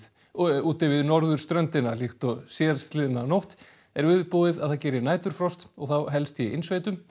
úti við norðurströndina líkt og síðastliðna nótt er viðbúið að það geri næturfrost og þá helst í innsveitum